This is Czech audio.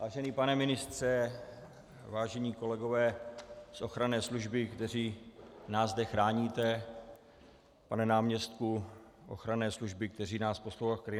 Vážený pane ministře, vážení kolegové z ochranné služby, kteří nás zde chráníte, pane náměstku ochranné služby, který nás posloucháte v zákulisí.